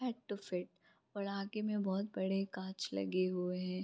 Had to fit और आगे में बहोत बड़े काँच लगे हुए हैं।